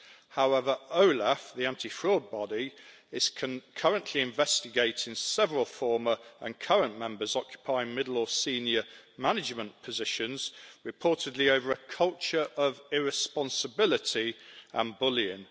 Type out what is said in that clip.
However, OLAF, the anti fraud body, is currently investigating several former and current members occupying middle or senior management positions, reportedly over a culture of irresponsibility and bullying.